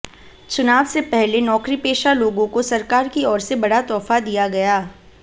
चुनाव से पहले नौकरीपेशा लोगों को सरकार की ओर से बड़ा तोहफा दिया गया